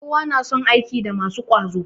Kowa na son aiki da masu ƙwazo